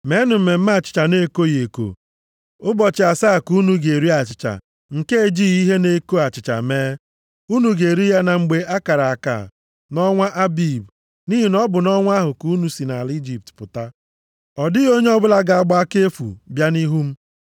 “Meenụ Mmemme Achịcha na-ekoghị eko, ụbọchị asaa ka unu ga-eri achịcha nke e jighị ihe na-eko achịcha mee. Unu ga-eri ya na mgbe a kara aka, nʼọnwa Abib. Nʼihi na ọ bụ nʼọnwa ahụ ka unu si nʼala Ijipt pụta. “Ọ dịghị onye ọbụla ga-agba aka efu bịa nʼihu m.